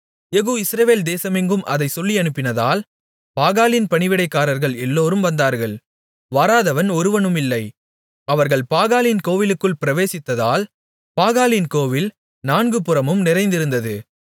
யெகூ Israel தேசமெங்கும் அதைச் சொல்லியனுப்பினதால் பாகாலின் பணிவிடைக்காரர்கள் எல்லோரும் வந்தார்கள் வராதவன் ஒருவனுமில்லை அவர்கள் பாகாலின் கோவிலுக்குள் பிரவேசித்ததால் பாகாலின் கோவில் நான்குபுறமும் நிறைந்திருந்தது